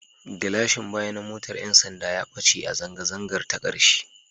Gilashin baya na motar 'yan sanda ya ɓace a zanga-zangar ta ƙarshe